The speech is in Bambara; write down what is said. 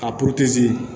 A